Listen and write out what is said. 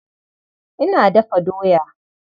Ina dafa doya.